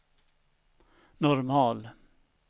normal